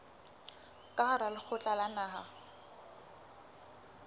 ka hara lekgotla la naha